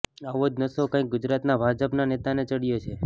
આવો જ નશો કઈક ગુજરાત ભાજપના નેતાને ચડ્યો છે